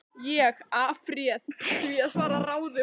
Ég afréð því að fara að ráðum